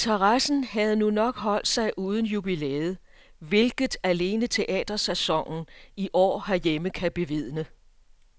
Interessen havde nu nok holdt sig uden jubilæet, hvilket alene teatersæsonen i år herhjemme kan bevidne.